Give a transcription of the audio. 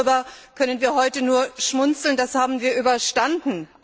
Darüber können wir heute nur schmunzeln, das haben wir überstanden.